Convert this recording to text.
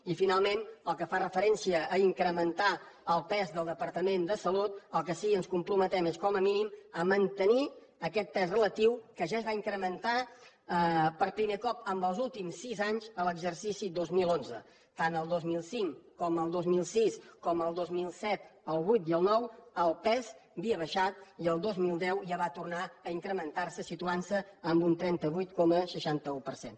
i finalment pel que fa referència a incrementar el pes del departament de salut al que sí que ens comprometem és com a mínim a mantenir aquest pes relatiu que ja es va incrementar per primer cop en els últims sis anys en l’exercici dos mil onze tant el dos mil cinc com el dos mil sis com el dos mil set el vuit i el nou el pes havia baixat i el dos mil deu ja va tornar a incrementar se situant se en un trenta vuit coma seixanta un per cent